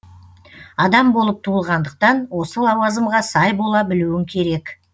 адам болып туылғандықтан осы лауазымға сай бола білуің керек